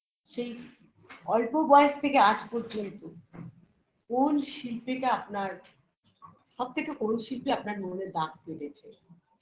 সেই অল্প বয়স থেকে আজ পর্যন্ত কোন শিল্পীটা আপনার সব থেকে কোন শিল্পী আপনার মনে দাগ কেটেছে